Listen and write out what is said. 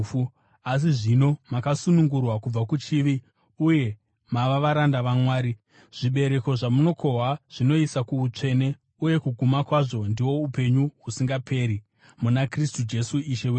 Asi zvino makasunungurwa kubva kuchivi uye mava varanda vaMwari, zvibereko zvamunokohwa zvinoisa kuutsvene, uye kuguma kwazvo ndihwo upenyu husingaperi muna Kristu Jesu Ishe wedu.